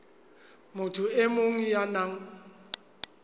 motho e mong ya nang